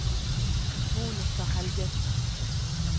Monica Helgesen